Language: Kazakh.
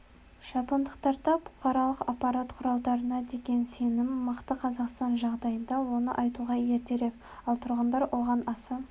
жапондықтарда бұқаралық ақпарат құралдарына деген сенім мықты қазақстан жағдайында оны айтуға ертерек ал тұрғындар оған аса